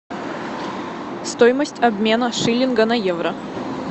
стоимость обмена шиллинга на евро